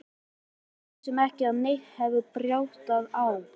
Við vissum ekki að neitt hefði bjátað á.